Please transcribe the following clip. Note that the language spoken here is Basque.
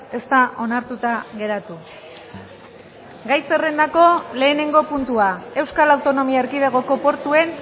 ez da onartuta geratu gai zerrendako lehenengo puntua euskal autonomia erkidegoko portuen